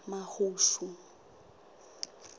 mahushu